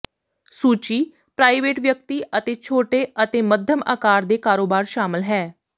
ਸੂਚੀ ਪ੍ਰਾਈਵੇਟ ਵਿਅਕਤੀ ਅਤੇ ਛੋਟੇ ਅਤੇ ਮੱਧਮ ਆਕਾਰ ਦੇ ਕਾਰੋਬਾਰ ਸ਼ਾਮਲ ਹੈ